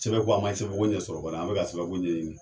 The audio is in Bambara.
Sɛbɛnko an man sɛbɛnko ɲɛsɔrɔ ban dɛ an bɛ ka sɛbɛnko ɲɛɲini.